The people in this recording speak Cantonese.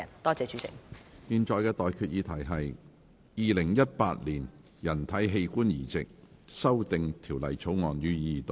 我現在向各位提出的待決議題是：《2018年人體器官移植條例草案》，予以二讀。